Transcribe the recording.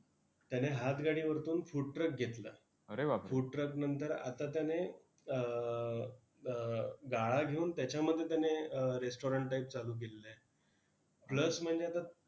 त्याने हातगाडीवरतून food truck घेतला. Food truck नंतर, आता त्याने अं अं गाळा घेऊन त्याच्यामध्ये त्याने restaurant type चालू केलेलं आहे. plus म्हणजे आता